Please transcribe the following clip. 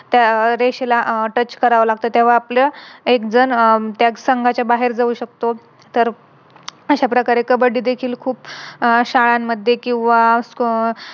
त्या रेषेला अह Touch करावं लागत तेव्हा आपलं एक जण त्या संघाच्या बाहेर जाऊ शकतो तर अश्या प्रकारे कब्बडी देखील खूप आह शाळांमध्ये किव्हा